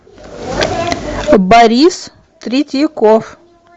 борис третьяков